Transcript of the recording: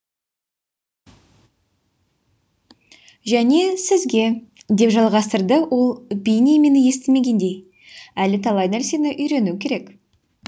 және сізге деп жалғастырды ол бейне мені естімегендей әлі талай нәрсені үйрену керек